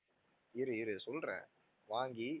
இரு இரு சொல்றேன் வாங்கி